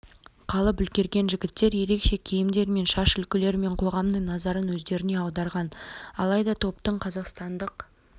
қалып үлгерген жігіттер ерекше киімдері мен шаш үлгілерімен қоғамның назарын өздеріне аударған алайда топтың қазақстандық